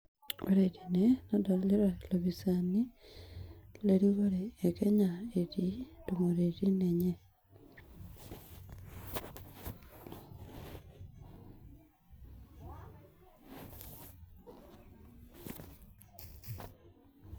Less than 15 minutes